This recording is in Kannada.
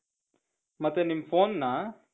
ಮತ್ತೆ ನಿಮ್ phoneನ .